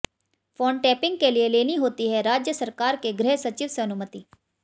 phone tapping के लिए लेनी होती है राज्य सरकार के गृह सचिव से अनुमति